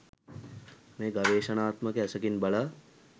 මෙය ගවේෂණාත්මක ඇසකින් බලා